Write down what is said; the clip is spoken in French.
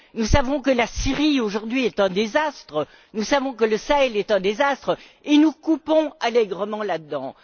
Nous savons que la Syrie, aujourd'hui, est un désastre, nous savons que le Sahel est un désastre et nous coupons allègrement là dedans.